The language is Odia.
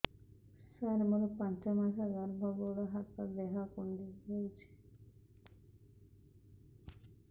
ସାର ମୋର ପାଞ୍ଚ ମାସ ଗର୍ଭ ଗୋଡ ହାତ ଦେହ କୁଣ୍ଡେଇ ହେଉଛି